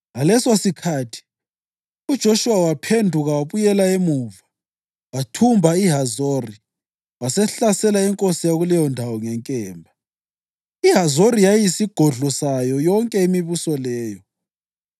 Amadolobho la anikwa izizukulwane zika-Aroni ezazivela kuzinsendo zamaKhohathi phakathi kwabaLevi ngoba inkatho yakuqala yawela kuzo: